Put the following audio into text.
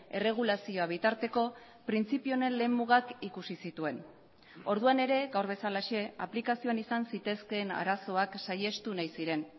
erregulazioa bitarteko printzipio honen lehen mugak ikusi zituen orduan ere gaur bezalaxe aplikazioan izan zitezkeen arazoak saihestu nahi ziren